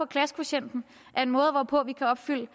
klassekvotienten er en måde hvorpå vi kan opfylde